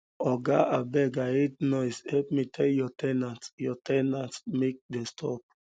oga abeg um i hate noise help me tell your ten ants your ten ants um make dem stop